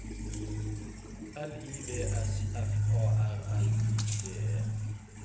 L I V S F A R L I G E